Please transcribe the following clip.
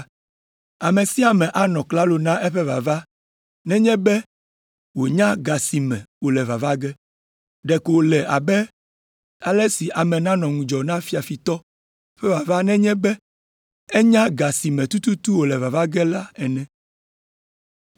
Ame sia ame anɔ klalo na eƒe vava nenye be wònya ga si me wòle vava ge. Ɖeko wòle abe ale si ame nanɔ ŋudzɔ na fiafitɔ ƒe vava nenye be enya ga si me tututu wòle vava ge ene.